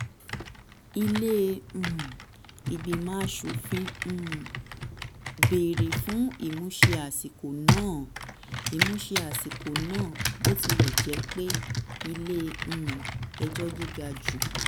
ilé um ìgbìmọ̀ aṣòfin um béèrè fún ìmúṣẹ àsìkò náà. ìmúṣẹ àsìkò náà. bó tilẹ̀ jẹ́ pé ilé um ẹjọ́ gíga jù